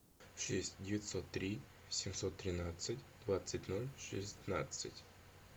шесть девятьсот три семьсот тринадцать двадцать ноль шестнадцать